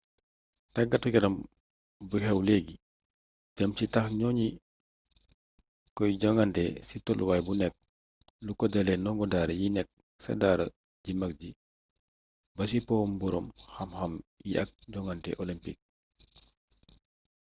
tàggatu yaram bu xew leegi jëm ci taax ñoŋi koy jogante ci toluwaay bu nekk lu ko dalee nongo daara yi nekk ca daara ju mag ji ba ci powum boroom xam xam yi ak jongante olempiik